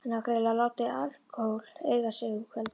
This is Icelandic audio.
Hann hafði greinilega látið alkóhól eiga sig um kvöldið.